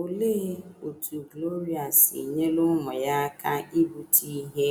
Olee otú Gloria si nyere ụmụ ya aka ibute ihe